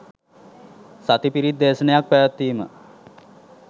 සති පිරිත් දේශනයක් පැවැත්වීම